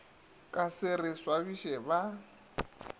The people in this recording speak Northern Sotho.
ka se re swabiše ba